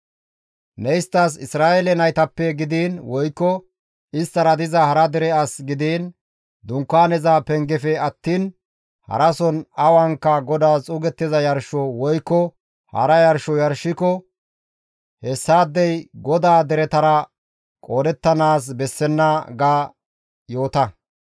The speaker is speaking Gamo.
«Ne isttas, ‹Isra7eele naytappe gidiin woykko isttara diza hara dere as gidiin Dunkaaneza pengefe attiin harason awanka GODAAS xuugettiza yarsho woykko hara yarsho yarshiko hessaadey GODAA deretara qoodettanaas bessenna› ga yoota.